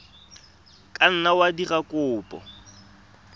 ka nna wa dira kopo